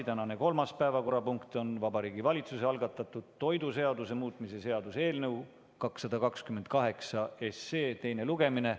Tänane kolmas päevakorrapunkt on Vabariigi Valitsuse algatatud toiduseaduse muutmise seaduse eelnõu 228 teine lugemine.